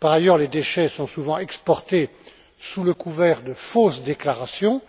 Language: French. Par ailleurs, les déchets sont souvent exportés sous le couvert de fausses déclarations